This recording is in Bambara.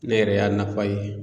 Ne yɛrɛ y'a nafa ye.